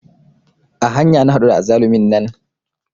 A hanya na haɗu da azzalumin nan